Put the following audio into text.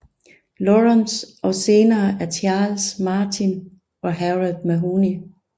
Lawrence og senere af Charles Martin og Harold Mahony